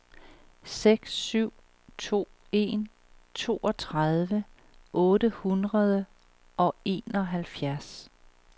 seks syv to en toogtredive otte hundrede og enoghalvfjerds